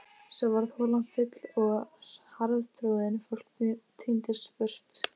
Svo varð holan full og harðtroðin, fólk tíndist burt.